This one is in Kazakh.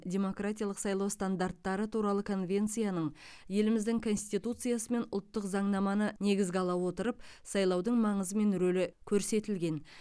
демократиялық сайлау стандарттары туралы конвенцияның еліміздің конституциясы мен ұлттық заңнаманы негізге ала отырып сайлаудың маңызы мен рөлі көрсетілген